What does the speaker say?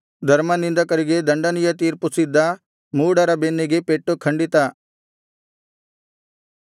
ಧರ್ಮನಿಂದಕರಿಗೆ ದಂಡನೆಯ ತೀರ್ಪು ಸಿದ್ಧ ಮೂಢರ ಬೆನ್ನಿಗೆ ಪೆಟ್ಟು ಖಂಡಿತ